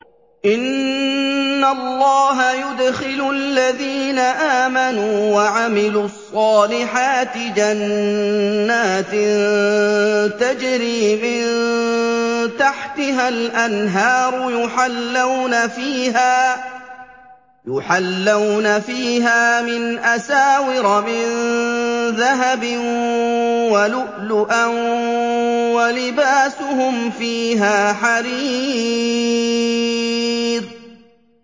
إِنَّ اللَّهَ يُدْخِلُ الَّذِينَ آمَنُوا وَعَمِلُوا الصَّالِحَاتِ جَنَّاتٍ تَجْرِي مِن تَحْتِهَا الْأَنْهَارُ يُحَلَّوْنَ فِيهَا مِنْ أَسَاوِرَ مِن ذَهَبٍ وَلُؤْلُؤًا ۖ وَلِبَاسُهُمْ فِيهَا حَرِيرٌ